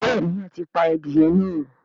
béèni a tí pá adìye náa.